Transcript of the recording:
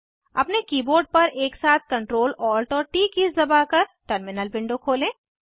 अपने कीबोर्ड पर एक साथ Ctrl Alt और ट दबाकर टर्मिनल विंडो खोलें